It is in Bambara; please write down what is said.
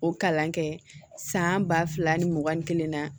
O kalan kɛ san ba fila ni mugan ni kelen na